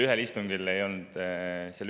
See toodi välja.